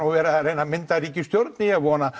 verið að reyna að mynda ríkisstjórn vona